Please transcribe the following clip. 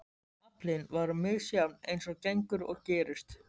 Aflinn var misjafn eins og gengur og gerist.